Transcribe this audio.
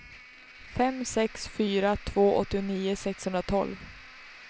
fem sex fyra två åttionio sexhundratolv